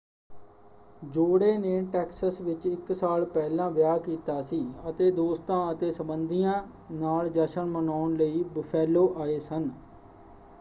ਜੋੜੇ ਨੇ ਟੈਕਸਸ ਵਿੱਚ ਇਕ ਸਾਲ ਪਹਿਲਾਂ ਵਿਆਹ ਕੀਤਾ ਸੀ ਅਤੇ ਦੋਸਤਾਂ ਅਤੇ ਸੰਬੰਧੀਆਂ ਨਾਲ ਜਸ਼ਨ ਮਨਾਉਣ ਲਈ ਬੁਫੈਲੋ ਆਏ ਸਨ।